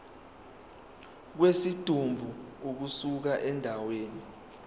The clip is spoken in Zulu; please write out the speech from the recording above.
kwesidumbu ukusuka endaweni